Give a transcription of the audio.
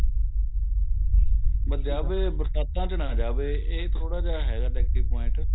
ਬੱਸ ਜਾਵੇ ਬਰਸਾਤਾਂ ਵਿੱਚ ਨਾ ਜਾਵੇ ਏਹ ਥੋੜਾ ਜਾਂ ਹੈਗਾ negative point